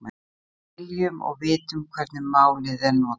Við skiljum og vitum hvernig málið er notað.